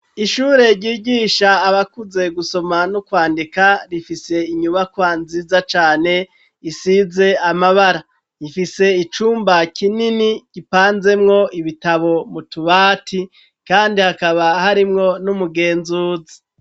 Ishure ryigisha abakuze gusoma n'ukwandika rifise inyubakwa nziza cane isize amabara rifise icumba kinini gipanzemwo ibitabo mutubati, kandi hakaba harimwo n'umugenzuzi.